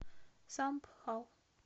самбхал